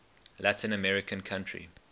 latin american country